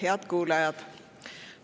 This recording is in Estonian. Head kuulajad!